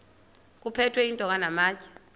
kuphethwe iintonga namatye